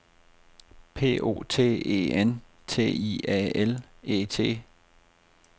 P O T E N T I A L E T